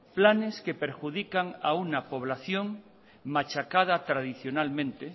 planes que perjudican a una población machacada tradicionalmente